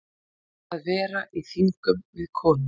Að vera í þingum við konu